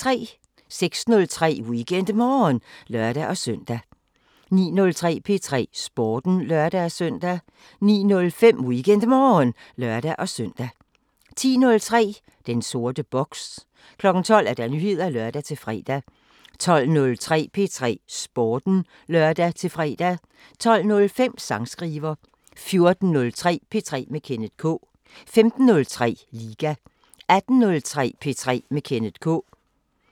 06:03: WeekendMorgen (lør-søn) 09:03: P3 Sporten (lør-søn) 09:05: WeekendMorgen (lør-søn) 10:03: Den sorte boks 12:00: Nyheder (lør-fre) 12:03: P3 Sporten (lør-fre) 12:05: Sangskriver 14:03: P3 med Kenneth K 15:03: Liga 18:03: P3 med Kenneth K